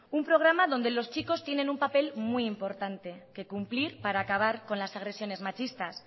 un programa donde los chicos tienen un papel muy importante que cumplir para acabar con las agresiones machistas